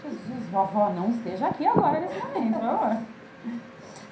Jesus, vovó, não esteja aqui agora nesse momento, vovó.